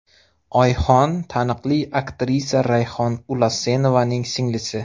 Oyxon taniqli aktrisa Rayhon Ulasenovaning singlisi.